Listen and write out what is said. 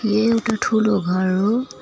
यो एउटा ठूलो घर हो।